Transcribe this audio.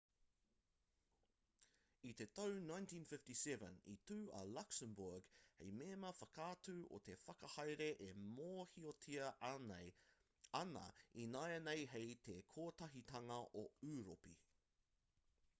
i te tau 1957 i tū a luxembourg hei mema whakatū o te whakahaere e mōhiotia ana ināianei hei te kotahitanga o ūropi